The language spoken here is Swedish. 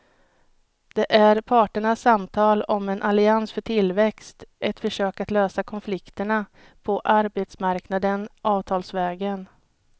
Det är parternas samtal om en allians för tillväxt, ett försök att lösa konflikterna på arbetsmarknaden avtalsvägen.